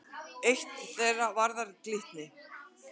Eitt þeirra varðar Glitni.